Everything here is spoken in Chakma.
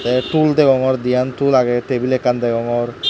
te pul deongor diyan tool age tabil ekkan deogongor.